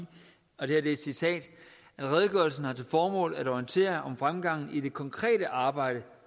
og det er et citat at redegørelsen har til formål at orientere om fremgangen i det konkrete arbejde